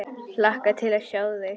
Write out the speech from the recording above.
Hlakka til að sjá þig.